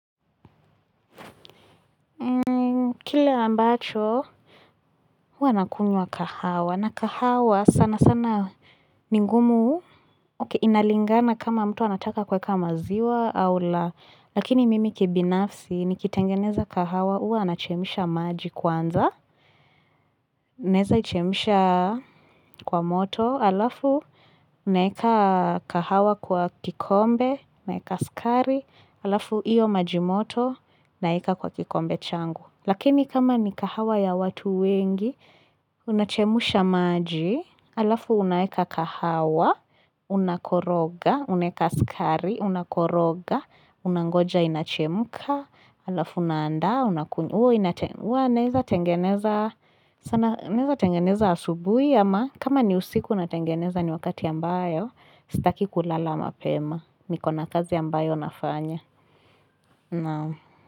Kile ambacho huua nakunywa kahawa na kahawa sanasana ni ngumu okay inalingana kama mtu anataka kuweka maziwa au la. Lakini mimi kibinafsi nikitengeneza kahawa huwa nachemsha maji kwanza. Naeza ichemsha kwa moto alafu naeka kahawa kwa kikombe naeka sukari alafu iyo maji moto naeka kwa kikombe changu. Lakini kama ni kahawa ya watu wengi, unachemsha maji, alafu unaeka kahawa, unakoroga, unaeka sukari, unakoroga, unangoja inachemka, alafu unaandaa, unaku huwa naeza tengeneza naeza tengeneza asubuhi ama kama ni usiku unatengeneza ni wakati ambayo, sitaki kulala mapema, nikona kazi ambayo nafanya.